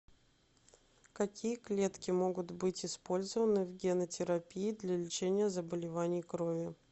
какие клетки могут быть использованы в генотерапии для лечения заболеваний крови